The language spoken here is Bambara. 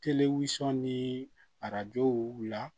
Telegusɔn ni arajow la